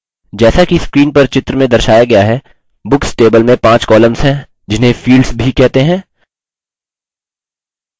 जैसा कि screen पर चित्र में दर्शाया गया है books table में 5 columns हैं जिन्हें fields भी कहते हैं